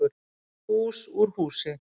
Hús úr húsi